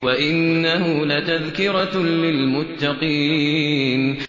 وَإِنَّهُ لَتَذْكِرَةٌ لِّلْمُتَّقِينَ